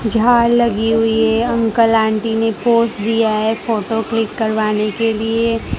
झाड़ लगी हुई है अंकल आंटी ने पोज दिया है फोटो क्लिक करवाने के लिए।